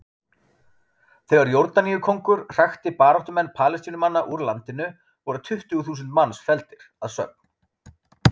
Þegar Jórdaníukonungur hrakti baráttumenn Palestínumanna úr landinu, voru tuttugu þúsund manns felldir að sögn.